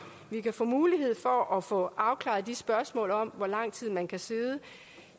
vi kan få mulighed for at få afklaret spørgsmålene om hvor lang tid man kan sidde